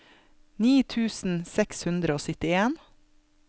ni tusen seks hundre og syttien